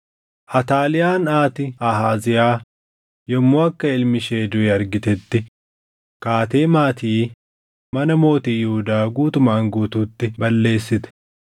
Ataaliyaan haati Ahaaziyaa yommuu akka ilmi ishee duʼe argitetti kaatee maatii mana mootii Yihuudaa guutumaan guutuutti balleessite.